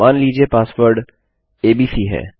मान लीजिए password ABC है